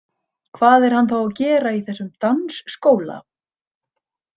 Hvað er hann þá að gera í þessum dansskóla?